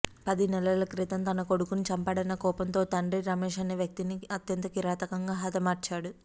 పది నెలల క్రితం తన కొడుకును చంపాడన్న కోపంతో ఓ తండ్రి రమేష్ అనే వ్యక్తిని అత్యంత కిరాతకంగా హతమార్చాడు